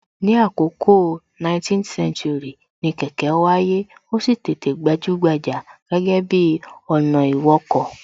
Ní àkọkọ 19th century, ni kẹ̀kẹ́ wáyé, ó sì tètè gbajúgbajà gẹ́gẹ́ bi ọ̀nà ìwọkọ̀